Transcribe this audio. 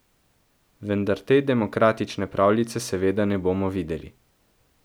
Vendar te demokratične pravljice seveda ne bomo videli.